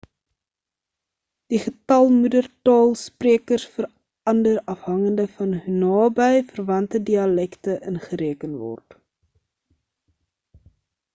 die getal moedertaal sprekers verander afhangende van hoe naby verwante dialekte ingereken word